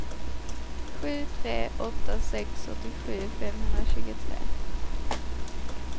sju tre åtta sex åttiosju femhundratjugotre